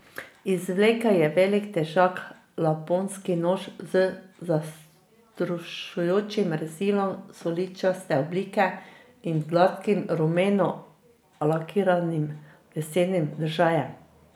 Izvlekel je velik, težak laponski nož z zastrašujočim rezilom suličaste oblike in gladkim, rumeno lakiranim lesenim držajem.